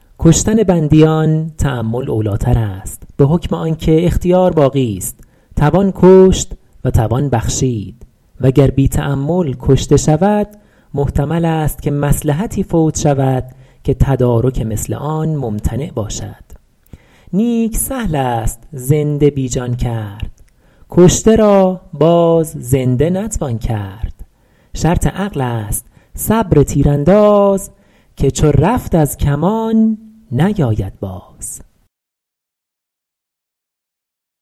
کشتن بندیان تأمل اولی تر است به حکم آن که اختیار باقیست توان کشت و توان بخشید و گر بی تأمل کشته شود محتمل است که مصلحتی فوت شود که تدارک مثل آن ممتنع باشد نیک سهل است زنده بی جان کرد کشته را باز زنده نتوان کرد شرط عقل است صبر تیرانداز که چو رفت از کمان نیاید باز